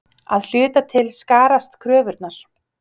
Að hluta til skarast kröfurnar.